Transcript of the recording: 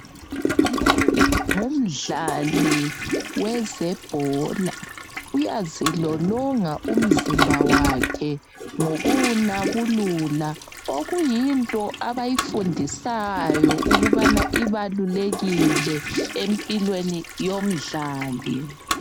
Lowu ngumdlali wezebhola uyazilolonga umzimba wakhe ngokuwunabulula okuyinto abayifundisayo ukubana ibalulekile empilweni yomdlali.